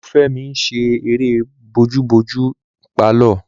Olufemi n ṣe eré bojúbojú ní pálọ̀